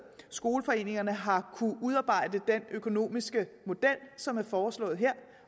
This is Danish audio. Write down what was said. skoleforeningerne har kunnet udarbejde den økonomiske model som er foreslået her